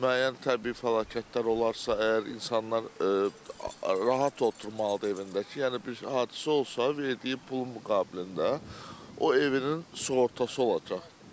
Müəyyən təbii fəlakətlər olarsa, əgər insanlar rahat oturmalıdır evində ki, yəni bir hadisə olsa, verdiyi pulun müqabilində o evinin sığortası olacaq.